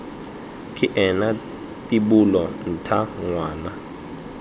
ke ena tibola ntha ngwana